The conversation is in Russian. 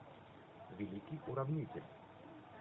великий уравнитель